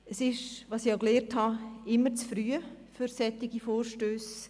Es ist, wie ich gelernt habe, immer zu früh für solche Vorstösse.